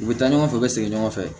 U bɛ taa ɲɔgɔn fɛ u bɛ segin ɲɔgɔn fɛ